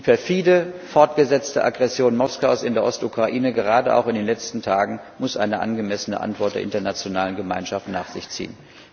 Die perfide, fortgesetzte Aggression Moskaus in der Ostukraine gerade auch in den letzten Tagen muss eine angemessene Antwort der internationalen Gemeinschaft nach sich ziehen!